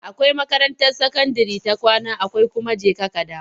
Akwai makarantar sakandire ta kwana akwai kuma jeka-kadawo.